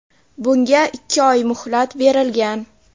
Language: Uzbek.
Bunga ikki oy muhlat berilgan.